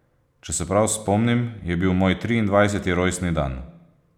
Če se prav spomnim, je bil moj triindvajseti rojstni dan.